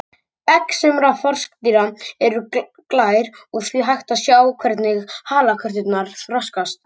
Egg sumra froskdýra eru glær og því hægt að sjá hvernig halakörturnar þroskast.